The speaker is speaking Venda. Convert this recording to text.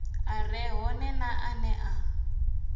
a re hone ane a